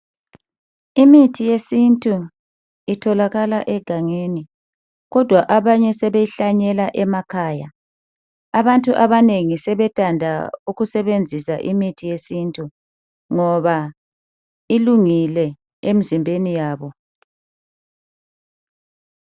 Imithi yesintu itholakala egangeni kodwa abanye sebeyi hlanyela emakhaya abantu abanengi sebethanda ukusebenzisa imithi yesintu ngoba ilungile emzimbeni yabo.